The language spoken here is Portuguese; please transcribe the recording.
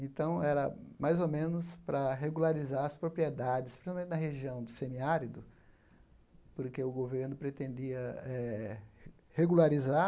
Então, era mais ou menos para regularizar as propriedades, principalmente na região de semiárido, porque o governo pretendia eh regularizar